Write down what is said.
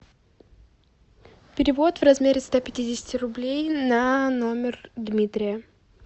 перевод в размере ста пятидесяти рублей на номер дмитрия